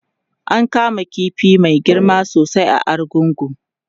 an kama ƙifi Mai girma sosai a argungu